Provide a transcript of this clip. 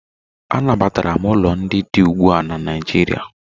Anabatara ụlọ ndị dị ugbu a na Naịjirịa.